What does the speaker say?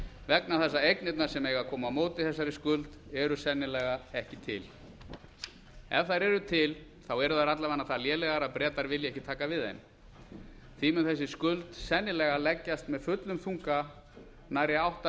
vegna þess að eignirnar sem eiga að koma á móti þessari skuld eru sennilega ekki til ef þær eru til eru þær alla vega það lélegar að bretar vilja ekki taka við þeim því mun þessi skuld sennilega leggjast með fullum þunga nærri átta hundruð